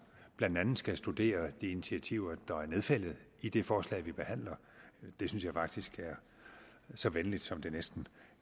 blandt andet skal studere de initiativer der er nedfældet i det forslag vi behandler det synes jeg faktisk er så venligt som det næsten